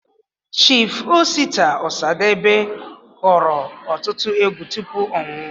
Chief Osita Osadebe kụrụ ọtụtụ egwu tụpụ ọ nwụọ